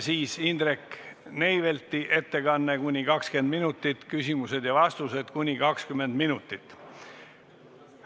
Siis on Indrek Neivelti ettekanne kuni 20 minutit, küsimused ja vastused kuni 20 minutit.